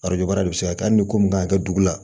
Arajo baara de bɛ se ka kɛ hali ni ko min kan ka kɛ dugu la